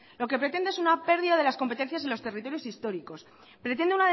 lo que pretende es una pérdida de las competencias de los territorios históricos pretende